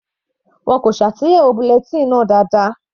Wọn kò ṣe àtúnyẹwò bulletin náà dáadáa.